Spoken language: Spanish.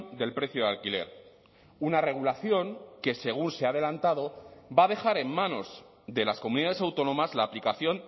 del precio de alquiler una regulación que según se ha adelantado va a dejar en manos de las comunidades autónomas la aplicación